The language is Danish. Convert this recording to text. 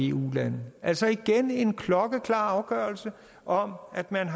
eu lande altså igen en klokkeklar afgørelse om at man